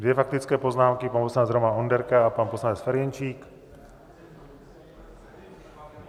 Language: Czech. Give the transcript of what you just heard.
Dvě faktické poznámky - pan poslanec Roman Onderka a pan poslanec Ferjenčík.